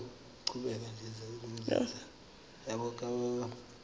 ke ra le ge e